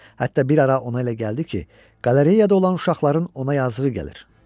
Hətta bir ara ona elə gəldi ki, qalereyada olan uşaqların ona yazığı gəlir.